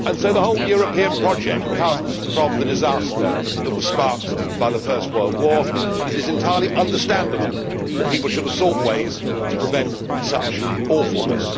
The whole European project comes from the disaster that was sparked by the First World War. It is entirely understandable that people should have sought ways to prevent such awfulness.